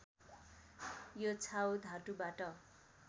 यो छाउ धातुबाट